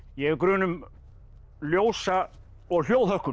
ég hef grun um ljósa og